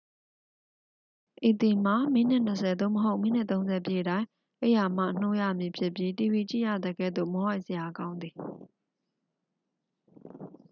ဤသည်မှာ မိနစ် 20 သို့မဟုတ် မိနစ် 30 ပြည့်တိုင်း အိပ်ရာမှ နှိုးရမည်ဖြစ်ပြီးတီဗီကြည့်ရသကဲ့သို့ မောဟိုက်စရာကောင်းသည်